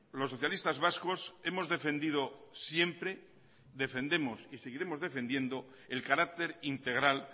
los socialistas vascos hemos defendido siempre defendemos y seguiremos defendiendo el carácter integral